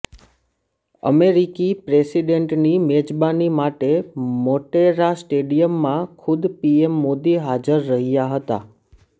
અમેરિકી પ્રેસિડેન્ટની મેજબાની માટે મોટેરા સ્ટેડિયમમાં ખુદ પીએમ મોદી હાજર રહ્યા હતા